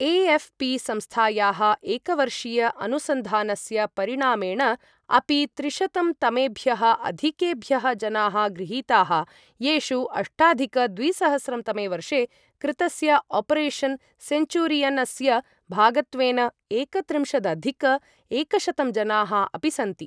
AFP संस्थायाः एकवर्षीय अनुसन्धानस्य परिणामेण अपि त्रिशतं तमेभ्यः अधिकेभ्यः जनाः गृहीताः, येषु अष्टाधिक द्विसहस्रं तमे वर्षे कृतस्य ऑपरेशन सेन्चुरियनस्य भागत्वेन एकत्रिंशदधिक एकशतं जनाः अपि सन्ति